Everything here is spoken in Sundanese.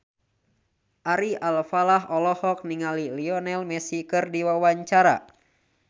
Ari Alfalah olohok ningali Lionel Messi keur diwawancara